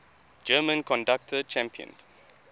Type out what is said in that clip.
german conductor championed